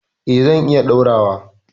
Eh zan iya ɗaurawa.